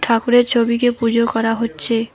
ঠাকুরের ছবিকে পুজো করা হচ্ছে।